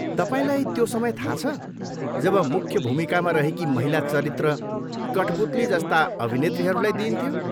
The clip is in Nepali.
तपाईँलाई त्यो समय थाहा छ, जब मुख्य भूमिकामा रहेकी महिला चरित्र कठपुतली जस्ता अभिनेत्रीहरूलाई दिइन्थ्यो?